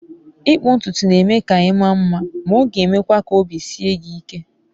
Ịkpụ ntutu na-eme ka ị maa mma, ma ọ ga-emekwa ka obi sie gị ike.